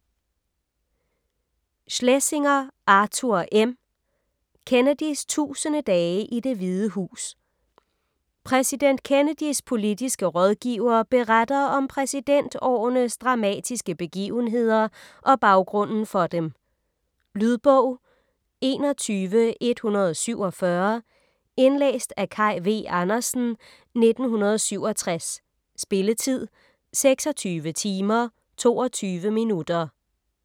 Schlesinger, Arthur M.: Kennedys tusinde dage i Det Hvide Hus Præsident Kennedys politiske rådgiver beretter om præsidentårenes dramatiske begivenheder og baggrunden for dem. Lydbog 21147 Indlæst af Kaj V. Andersen, 1967. Spilletid: 26 timer, 22 minutter.